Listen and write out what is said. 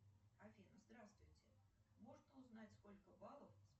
афина здравствуйте можно узнать сколько баллов